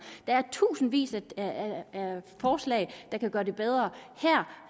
er tusindvis af forslag der kan gøre det bedre her